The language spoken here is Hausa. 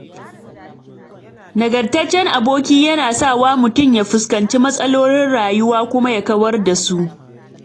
Nagartaccen aboki yana sawa mutum ya fuskanci matsalolin rayuwa kuma ya kawar da su